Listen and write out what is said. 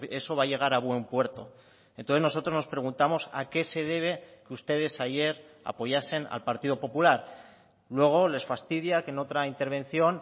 eso va a llegar a buen puerto entonces nosotros nos preguntamos a qué se debe que ustedes ayer apoyasen al partido popular luego les fastidia que en otra intervención